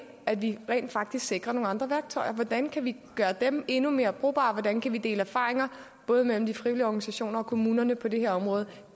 at vi rent faktisk sikrer nogle andre værktøjer og siger hvordan kan vi gøre dem endnu mere brugbare hvordan kan man dele erfaringer både mellem de frivillige organisationer og kommunerne på det her område